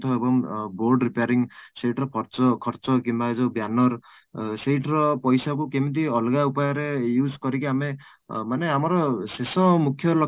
ତ ଏବଂ board repairing ସେଥିରେ ଖର୍ଚ୍ଚ କିମ୍ବା ଏ ଯୋଉ banner ସେଇଥିରେ ପଇସା କୁ କେମିତି ଅଲଗା ଉପାୟରେ use କରିକି ଆମେ ଅଂ ମାନେ ଆମର ଶେଷ ଆଉ ମୁଖ୍ୟ